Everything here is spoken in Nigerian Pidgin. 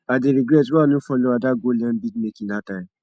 i dey regret why i no follow ada go learn bead making dat time